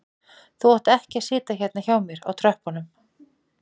Þú átt ekki að sitja hérna hjá mér á tröppunum